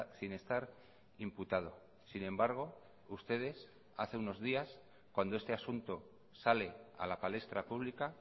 sin estar imputado sin embargo ustedes hace unos días cuando este asunto sale a la palestra pública